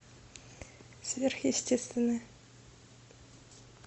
сверхъестественное